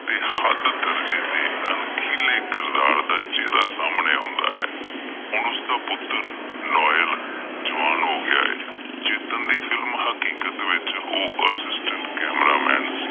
ਬੇਹੱਦ ਦਰਜੇ ਦੇ ਅਣਖੀਂਲੇ ਕਿਰਦਾਰ ਦਾ ਚਿਹਰਾ ਸਾਹਮਣੇ ਆਉਂਦਾ ਹੈ, ਹੁਣ ਉਸ ਦਾ ਪੁੱਤਰ ਲੋਇਲ ਜਵਾਨ ਹੋ ਗਿਆ ਏ ਚੇਤਨ ਦੀ film ਹਕੀਕਤ ਵਿੱਚ ਉਹ consent cameraman ਸੀ।